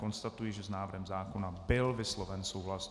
Konstatuji, že s návrhem zákona byl vysloven souhlas.